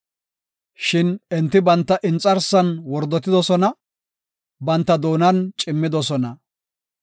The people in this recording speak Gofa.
Shin enti banta inxarsan wordotidosona; banta doonan cimmidosona.